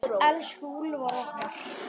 Elsku Úlfar okkar.